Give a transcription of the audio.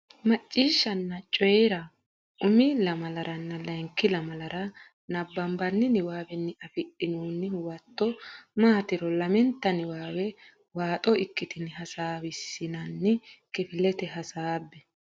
Macciishshanna Coyi ra Coyi ra Umi lamalaranna layinki lamalara nabbabbini niwaawenni afidhinoonni huwato maatiro lamenta niwaawe waaxo ikkitine heewisiissinanni kifilete hasaabbe.